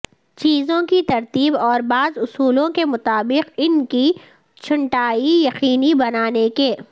چیزوں کی ترتیب اور بعض اصولوں کے مطابق ان کی چھنٹائی یقینی بنانے کے